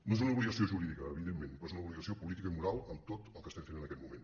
no és una obligació jurídica evidentment però és una obligació política i moral amb tot el que estem fent en aquest moment